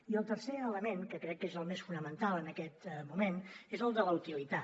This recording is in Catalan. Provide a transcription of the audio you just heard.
i el tercer element que crec que és el més fonamental en aquest moment és el de la utilitat